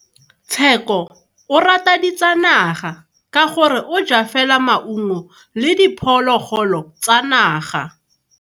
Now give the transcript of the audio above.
Tsheko o rata ditsanaga ka gore o ja fela maungo le diphologolo tsa naga.